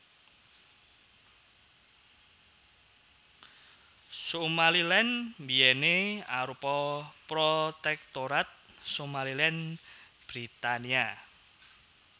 Somaliland biyèné arupa Protektorat Somaliland Britania